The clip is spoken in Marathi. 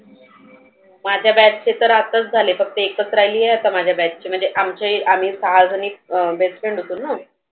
माझ्या काय ते तर अताच झाले फक्त एकच राहिली ती आता म्हणजे माझ्या batch म्हणजे आमच्याही आम्ही सहा जनी अं best friend होतोना.